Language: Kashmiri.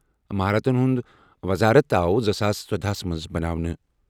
مہارتن ہُنٛد وزارت آو زٕ ساس ژۄدَہ ہَس منٛز بناونہٕ۔